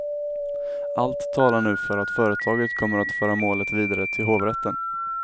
Allt talar nu för att företaget kommer att föra målet vidare till hovrätten.